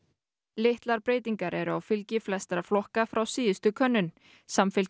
litlar breytingar eru á fylgi flestra flokka frá síðustu könnun